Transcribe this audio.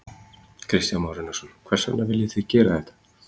Kristján Már Unnarsson: Hvers vegna viljið þið gera þetta?